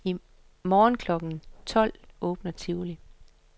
I morgen klokken tolv åbner tivoli.